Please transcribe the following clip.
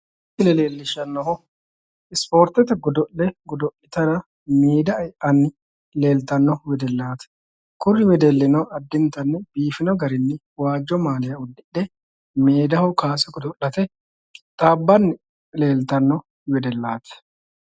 Misile leellishshannohu spoortete godo'le godo'litara meeda e'anni leeltanno wedellaati kuri wedellino addintanni biifannoha waajjo maaliya uddidhe meedaho kowaase godo'lite qixxabbanni leeltanno wedellaati.